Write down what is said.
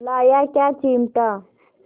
लाया क्या चिमटा